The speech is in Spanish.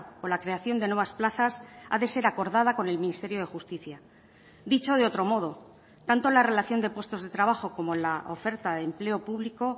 o la creación de nuevas plazas ha de ser acordada con el ministerio de justicia dicho de otro modo tanto la relación de puestos de trabajo como la oferta de empleo público